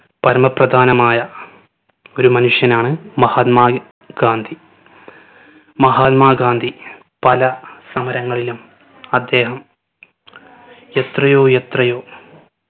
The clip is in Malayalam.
പരമപ്രധാനമായ ഒരു മനുഷ്യനാണ് മഹാത്‌മാ ഗാന്ധി. മഹാത്‌മാ ഗാന്ധി പല സമരങ്ങളിലും അദ്ദേഹം എത്രയോ എത്രയോ